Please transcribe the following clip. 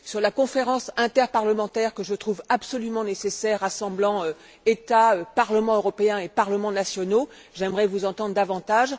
à propos de la conférence interparlementaire que je trouve absolument nécessaire rassemblant États, Parlement européen et parlements nationaux, j'aimerais vous entendre davantage.